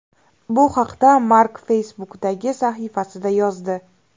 Bu haqda Mark Facebook’dagi sahifasida yozdi.